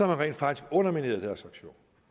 man rent faktisk undermineret deres aktion